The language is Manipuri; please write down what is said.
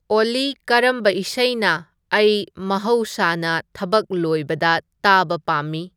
ꯑꯣꯜꯂꯤ ꯀꯔꯝꯕ ꯏꯁꯩꯅ ꯑꯩ ꯃꯍꯧꯁꯅ ꯊꯕꯛ ꯂꯣꯏꯕꯗ ꯇꯥꯕ ꯄꯥꯝꯃꯤ